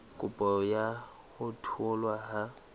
kopo ya ho tholwa ha